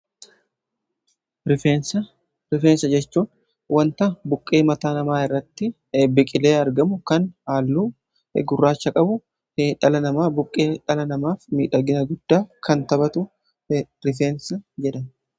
rifeensa, rifeensa jechuun wanta buqqee mataa namaa irratti biqilee argamu kan haalluu gurraacha qabu dhala namaa buqqee dhala namaaf miidhagina guddaa kan taphatu rifeensa jedhama.